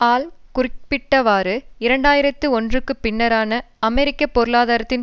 all குறிக்கப்பட்டவாறு இரண்டு ஆயிரத்தி ஒன்றுக்கு பின்னரான அமெரிக்க பொருளாதாரத்தின்